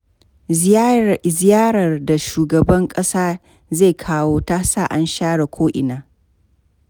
Ziyarar da shugaban ƙasa zai kawo, ta sa an share ko'ina.